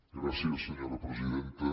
gràcies senyora presidenta